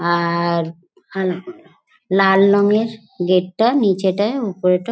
আ-আ-র আর লাল রঙের গেট টা নিচেটায় উপরেটা।